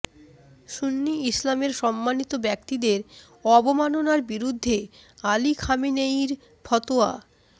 সুন্নি ইসলামের সম্মানিত ব্যক্তিত্বদের অবমাননার বিরুদ্ধে আলী খামেনেয়ীর ফতোয়া